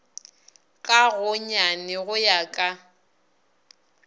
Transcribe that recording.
ka gonyane go ya ka